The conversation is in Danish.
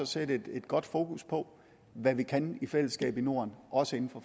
sætte et godt fokus på hvad vi kan i fællesskab i norden også inden